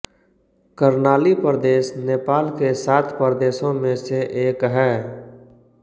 कर्णाली प्रदेश नेपाल के सात प्रदेशों में से एक है